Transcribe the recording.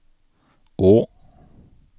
å